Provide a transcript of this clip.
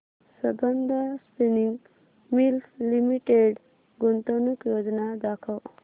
Sambandam spinning mills limited गुंतवणूक योजना दाखव